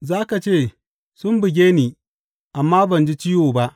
Za ka ce Sun buge ni, amma ban ji ciwo ba!